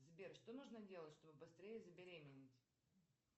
сбер что нужно делать чтобы быстрее забеременеть